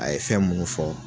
A ye fɛn munnu fɔ